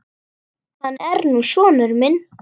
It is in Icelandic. Hann er nú sonur minn.